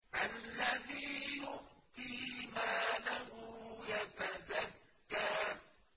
الَّذِي يُؤْتِي مَالَهُ يَتَزَكَّىٰ